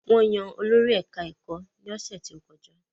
Wọ́n yan olórí ẹ̀ká ẹ̀kọ́ ní ọ̀sẹ̀ tó kọjá